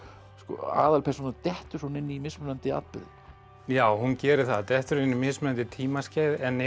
aðalpersónan dettur svona inn í mismunandi atburði já hún gerir það dettur inn í mismunandi tímaskeið en er